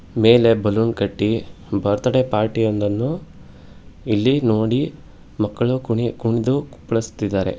ಮೇಲೆ ಬಲೂನ್ ಕಟ್ಟಿ birthday party ಯೊಂದನ್ನು ಇಲ್ಲಿ ನೋಡಿ ಮಕ್ಕಳು ಕಿಣಿ ಕುಣಿದು ಕುಪಲ್ಸ್ತಿದ್ದಾರೆ.